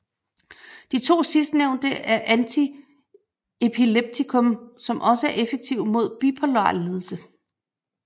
De to sidstnævnte er antiepileptikum som også er effektive mod bipolar lidelse